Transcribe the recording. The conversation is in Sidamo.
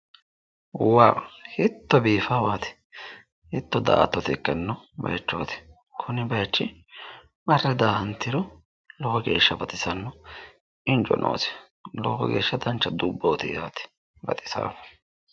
Wa hiitto biifaawaati? Hiitto daa"attote ikkanno baayiichooti? Kuni baayiichi marre daa'antiro lowo geeshsha baxisanno injo noosi. Lowo geeshsha dancha dubbooti yaate. Baxisaaho.